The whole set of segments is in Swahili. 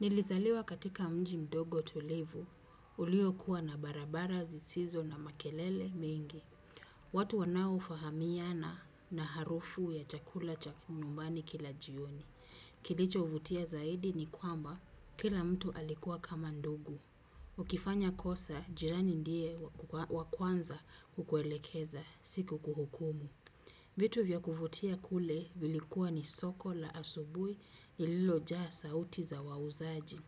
Nilizaliwa katika mji mdogo, tulivu, ilio kuwa na barabara zisizo na makelele mengi. Watu wanaofahamiana na harufu ya chakula cha kinyumbani kila jioni. Kilicho vutia zaidi ni kwamba kila mtu alikuwa kama ndugu. Ukifanya kosa, jirani ndiye wa kwanza kukuelekeza sio kukuhukumu. Vitu vya kuvutia kule ilikuwa ni soko la asubuhi iliyojaa sauti za wauzaji.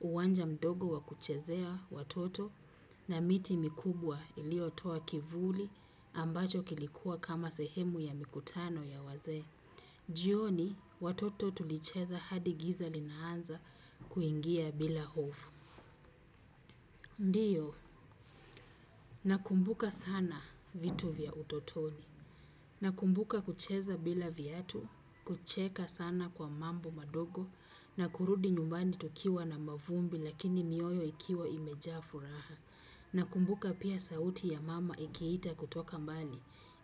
Uwanja mdogo wakuchezea, watoto na miti mikubwa ilio toa kivuli ambacho kilikuwa kama sehemu ya mikutano ya wazee. Jioni watoto tulicheza hadi giza linaanza kuingia bila hofu. Ndiyo, nakumbuka sana vitu vya utotoni. Nakumbuka kucheza bila viatu, kucheka sana kwa mambo madogo na kurudi nyumbani tukiwa na mavumbi lakini mioyo ikiwa imejaa furaha. Na kumbuka pia sauti ya mama akiita kutoka mbali,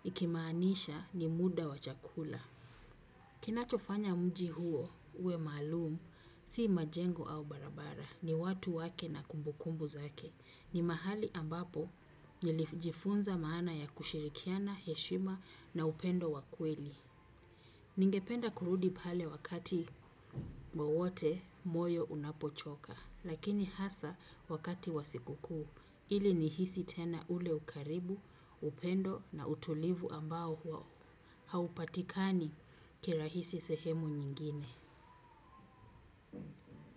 ikimaanisha ni muda wa chakula. Kinacho fanya mji huo, uwe maalumu, si majengo au barabara, ni watu wake na kumbukumbu zake. Ni mahali ambapo, nilijifunza maana ya kushirikiana, heshima na upendo wa kweli. Ningependa kurudi pale wakati wowote moyo unapo choka. Lakini hasa wakati wa siku kuu, ili nihisi tena ule ukaribu, upendo na utulivu ambao huwao. Haupatikani kirahisi sehemu nyingine.